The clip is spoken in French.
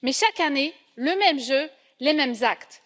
Mais chaque année, le même jeu, les mêmes actes.